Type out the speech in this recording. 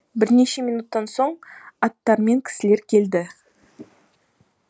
бірнеше минуттан соң аттары мен кісілер келді